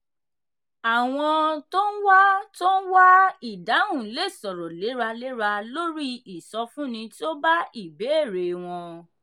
àwọn tó ń wá tó ń wá ìdáhùn lè sọ̀rọ̀ léraléra lórí ìsọfúnni tí ó bá ìbéèrè wọn.